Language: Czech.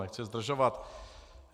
Nechci zdržovat.